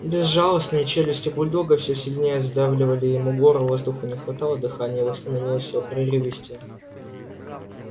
безжалостные челюсти бульдога все сильнее сдавливали ему горло воздуху не хватало дыхание его становилось все прерывистее